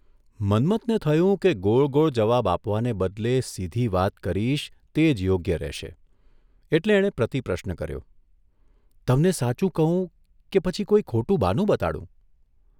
મન્મથને થયું કે ગોળગોળ જવાબ આપવાને બદલે સીધી વાત કરીશ તે જ યોગ્ય રહેશે એટલે એણે પ્રતિપ્રશ્ન કર્યોઃ તમને સાચું કહું કે પછી કોઇ ખોટું બહાનું બતાડું?